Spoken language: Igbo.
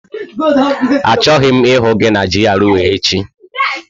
Achọghị m ịhụ gị na GRA echi!